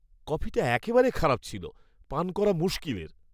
কফিটা একেবারে খারাপ ছিল। পান করা মুশকিলের।